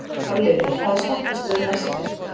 Hafliði, hvaða stoppistöð er næst mér?